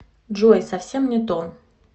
джой совсем не то